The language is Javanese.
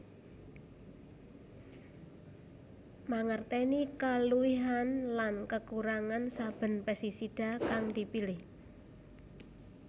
Mangertèni kaluwihan lan kekurangan saben pestisida kang dipilih